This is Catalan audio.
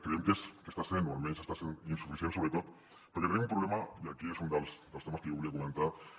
creiem que almenys està sent insuficient sobretot perquè tenim un problema i aquest és un dels temes que jo volia comentar